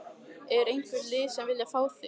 Er einhver lið sem að vilja fá þig?